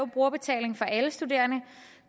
brugerbetaling for alle studerende og